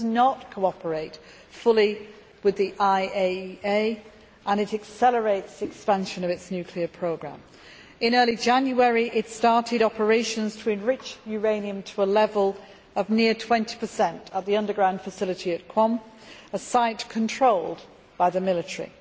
It does not cooperate fully with the IAEA and it accelerates the expansion of its nuclear programme. In early January it started operations to enrich uranium to a level of near 20 at the underground facility at Qom, a site controlled by the military.